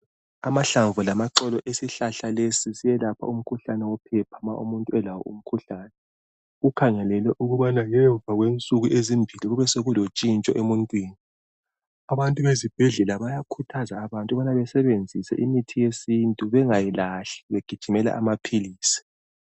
Amahlamvu lamaxolo esihlahla lesi siyelapha umkhuhlane wephepha ma umuntu elawo umkhuhlane. Kukhangelelwe ukubana ngemva kwensuku ezimbili kube sokulontshintsho emuntwini. Abantu ezibhedlela bayakhuthaza ukubana besebenzise imithi yesintu bengayilahli begijimela amaphilisi.